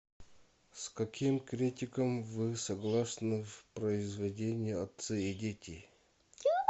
с каким критиком вы согласны в произведении отцы и дети